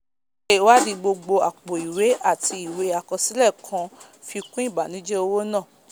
síse ìwádì gbogbo àpò ìwé àti ìwé àkọsílẹ̀ kàn fi kún ìbànújẹ owó náà